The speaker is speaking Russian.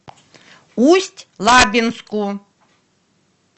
усть лабинску